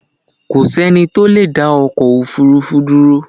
Kò sí ẹnì tó leedá ọkọ̀ òfurufú dúró